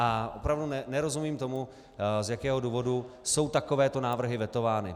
A opravdu nerozumím tomu, z jakého důvodu jsou takovéto návrhy vetovány.